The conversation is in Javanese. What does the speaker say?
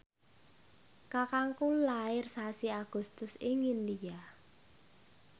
kakangku lair sasi Agustus ing India